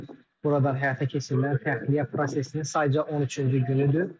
Bu gün buradan həyata keçirilən təxliyə prosesinin sayca 13-cü günüdür.